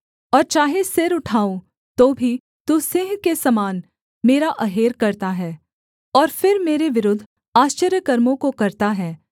और चाहे सिर उठाऊँ तो भी तू सिंह के समान मेरा अहेर करता है और फिर मेरे विरुद्ध आश्चर्यकर्मों को करता है